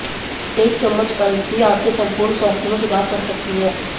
एक चम्मच अलसी आपके संपूर्ण स्वास्थ्य में सुधार कर सकती है